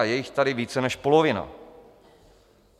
A je jich tady více než polovina.